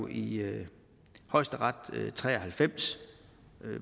i højesteret i nitten tre og halvfems